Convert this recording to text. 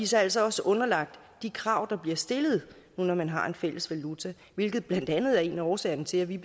så altså også underlagt de krav der bliver stillet nu når man har en fælles valuta hvilket blandt andet er en af årsagerne til at vi